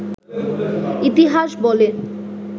ইতিহাস বলে